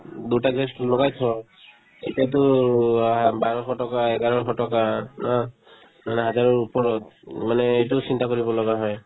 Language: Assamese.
দুটা gas কিনিবৰ কাৰণে থ এতিয়াতো আ বাৰশ টকা এঘাৰশ টকা ন মানে হাজাৰৰ ওপৰত উম মানে এইটো চিন্তা কৰিব লগা হয়